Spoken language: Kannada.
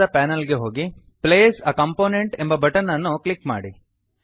place a component place a component ಎಂಬ ಬಟನ್ ಅನ್ನು ಕ್ಲಿಕ್ ಮಾಡಿ